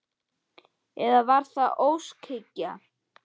Eða var það óskhyggja?